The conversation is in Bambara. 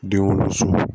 Den wolon